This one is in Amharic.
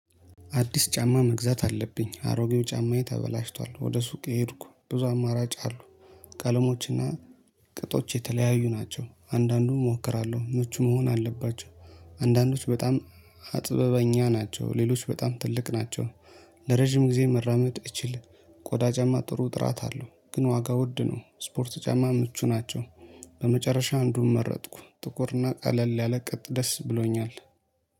አዲስ ጫማ መግዛት አለብኝ። አሮጌው ጫማዬ ተበላሽቷል። ወደ ሱቅ ሄድኩ ብዙ አማራጭ አሉ። ቀለሞችና ቅጦች የተለያዩ ናቸው። አንዳንዱም እሞክራለሁ መቹ መሆን አለባቸው። አንዳንዶች በጣም አጥበበኛ ናቸው። ሌሎች በጣም ትልቅ ናቸው። ለረጅም ጊዜ መራመድ እችል ቆዳ ጫማ ጥሩ ጥራት አለው ግን ዋጋ ውድ ነው። ስፖርት ጫማ ምቹ ናቸው። በመጨረሻ አንዱን መረጥኩ ጥቁርና ቀለል ያለ ቅጥ ደስ ብሎኛል።